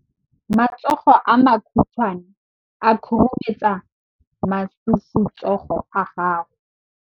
Matsogo a makhutshwane a khurumetsa masufutsogo a gago.